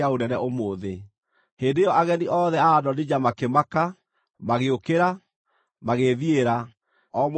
Hĩndĩ ĩyo ageni othe a Adonija makĩmaka, magĩũkĩra, magĩĩthiĩra, o mũndũ na njĩra yake.